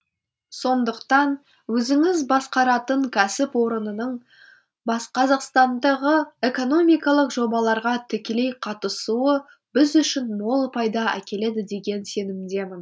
сондықтан өзіңіз басқаратын кәсіпорынның қазақстандағы экономикалық жобаларға тікелей қатысуы біз үшін мол пайда әкеледі деген сенімдемін